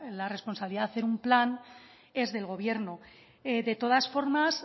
la responsabilidad de hacer un plan es del gobierno de todas formas